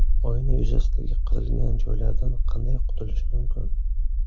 Oyna yuzasidagi qirilgan joylardan qanday qutulish mumkin?.